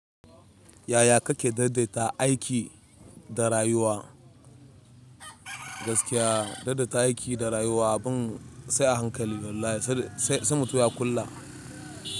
Yaya kake daidaita aiki da rayuwa? Gaskiya daidaita aiki da rayuwa abun sai a hankali wallahi. Sai mutum ya kula.